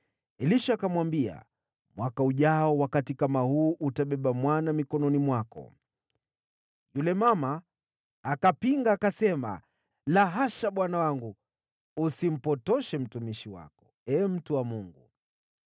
Elisha akamwambia, “Mwaka ujao, wakati kama huu utabeba mwana mikononi mwako.” Yule mama akapinga, akasema, “La hasha, bwana wangu, usimpotoshe mtumishi wako, ee mtu wa Mungu!”